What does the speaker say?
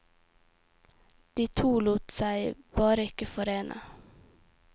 De to lot seg bare ikke forene.